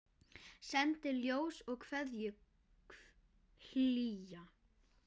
Sendi ljós og kveðju hlýja.